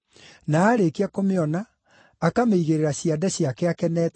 Na aarĩkia kũmĩona, akamĩigĩrĩra ciande ciake akenete,